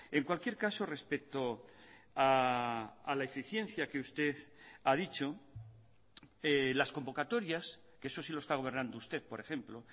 en cualquier caso respecto a la eficiencia que usted ha dicho las convocatorias que eso sí lo está gobernando usted por ejemplo